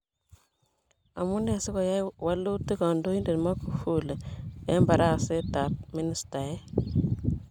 Amunee si koyai walutit kondoidet Magufuli en baraset ab ministaek.